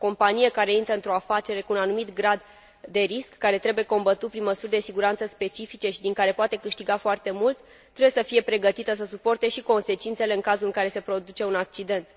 O companie care intră într o afacere cu un anumit grad de risc, care trebuie combătut prin măsuri de siguranță specifice și din care poate câștiga foarte mult, trebuie să fie pregătită să suporte și consecințele în cazul în care se produce un accident.